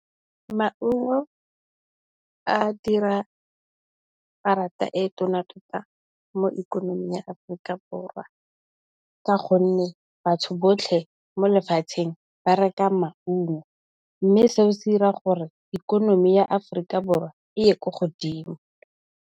Maungo a dira parata e tona thata mo ikonoming ya Aforika Borwa. Ka gonne batho botlhe mo lefatsheng ba reka maungo, mme seo se dira gore ikonomi ya Aforika Borwa e e ko godimo.